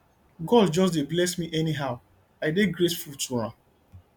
god just dey bless me anyhow i dey grateful to am